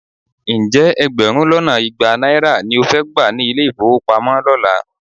Ǹjẹ́ ẹgbẹ̀rún lọ́nà igba náírà ló fẹ́ gbà ní ilé-ìfówopamọ́ lọ́la?